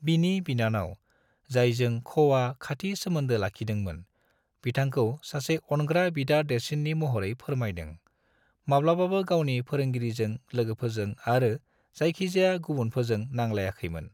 बिनि बिनानाव, जायजों खोआ खाथि सोमोन्दो लाखिदोंमोन, बिथांखौ सासे अनग्रा बिदा देरसिन्नि महरै फोरमायदों, माब्लाबाबो गावनि फोरोंगिरिजों लोगोफोरजों आरो जायखिजाया गुबुनफोरजों नांलायाखैमोन।